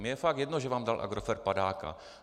Mně je fakt jedno, že vám dal Agrofert padáka.